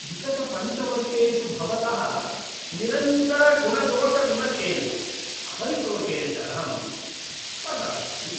विगतपञ्चवर्षेषु भवतः निरन्तरगुणदोषविमर्शेन, अपरितोषेण च अहं त्रस्तः अस्मि।